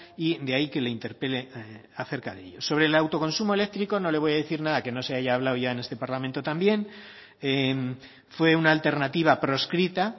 y de ahí que le interpele acerca de ello sobre el autoconsumo eléctrico no le voy a decir nada que no se haya hablado ya en este parlamento también fue una alternativa proscrita